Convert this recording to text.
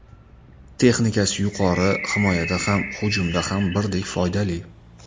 Texnikasi yuqori, himoyada ham, hujumda ham birdek foydali.